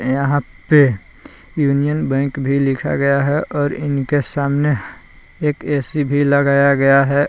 यहाँ पे Union Bank भी लिखा गया है और इनके सामने एक ए_सी भी लगाया गया है।